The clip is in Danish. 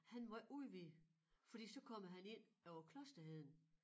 Han må ikke udvide fordi så kommer han ind på klosterheden